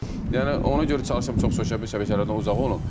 Yəni ona görə çalışıram çox sosial şəbəkələrdən uzaq olum.